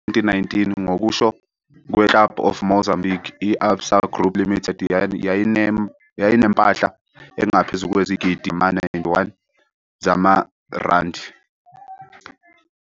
2019, ngokusho "kweClub of Mozambique", i-Absa Group Limited yayinempahla engaphezu kwezigidigidi ezingama-91 zamaRandi.